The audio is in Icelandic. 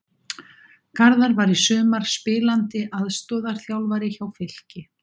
Garðar var í sumar spilandi aðstoðarþjálfari hjá Fylki.